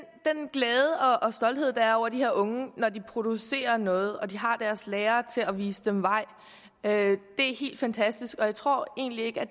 glæde og stolthed der er over de her unge når de producerer noget og de har deres lærere til at vise dem vej er helt fantastisk og jeg tror egentlig ikke at